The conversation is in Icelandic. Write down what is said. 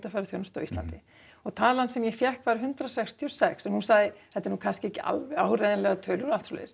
ferðaþjónustu á Íslandi og talan sem ég fékk var hundrað sextíu og sex en hún sagði þetta er nú ekki alveg áreiðanlegar tölur